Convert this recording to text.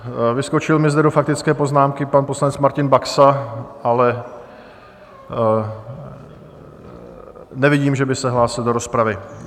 Vyskočil mi zde do faktické poznámky pan poslanec Martin Baxa, ale nevidím, že by se hlásil do rozpravy.